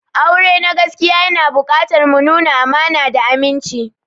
Aure na gaskiya yana buƙatar mu nuna amana da aminci.